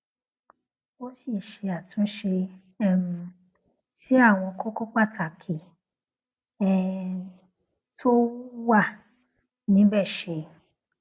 ó sì ṣe àtúnṣe um sí àwọn kókó pàtàkì um tó wà níbè ṣe